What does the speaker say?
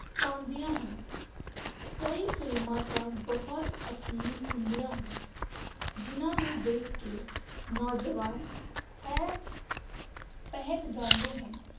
ਪਾਉਂਦੀਆਂ ਹਨ ਕਈ ਫਿਲਮਾਂ ਤਾਂ ਬਹੁਤ ਅਸ਼ਲੀਲ ਹੁੰਦੀਆਂ ਹਨ ਜਿੰਨ੍ਹਾ ਨੂੰ ਦੇਖ ਕੇ ਨੌਜਵਾਨ ਹੈ ਬਹਿਕ ਜਾਂਦੇ ਹਨ